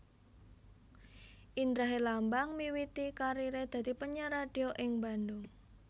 Indra Herlambang miwiti kariré dadi penyiar radio ing Bandung